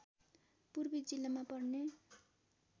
पूर्वी जिल्लामा पर्ने